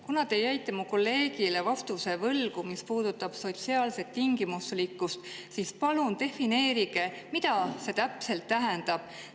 Kuna te jäite mu kolleegile võlgu vastuse, mis puudutab sotsiaalset tingimuslikkust, siis palun defineerige, mida see täpselt tähendab.